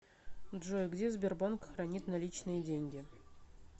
джой где сбербанк хранит наличные деньги